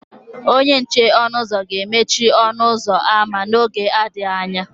Onye nche ọnụ ụzọ ga-emechi ọnụ ụzọ ámá n'oge adịghị anya.